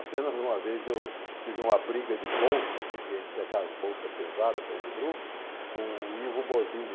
Apenas uma vez eu tive uma briga de bolsa, porque a gente tinha aquelas bolsas pesada para ir no grupo, com o livro Bozzini.